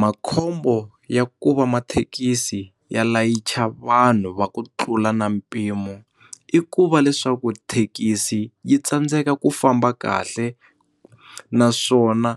Makhombo ya ku va mathekisi ya layicha vanhu va ku tlula na mpimo i ku va leswaku thekisi yi tsandzeka ku famba kahle naswona